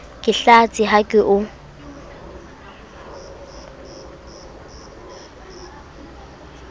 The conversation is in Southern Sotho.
ke hlatse ha ke o